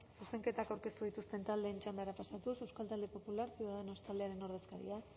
zuzenketak aurkeztu dituzten txandara pasatuz euskal talde popular ciudadanos taldearen ordezkaria